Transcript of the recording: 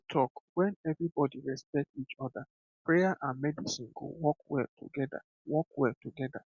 true talk when everybody respect each other prayer and medicine go work well together work well together